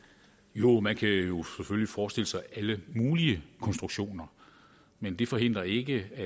jo man kan jo selvfølgelig forestille sig alle mulige konstruktioner men det forhindrer ikke at